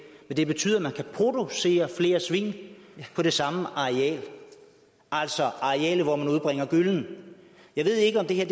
men det betyder at man kan producere flere svin på det samme areal altså arealet hvor man udbringer gyllen jeg ved ikke om det her